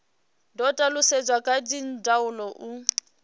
do talutshedzwa kha dzindaulo u